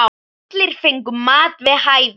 Allir fengu mat við hæfi.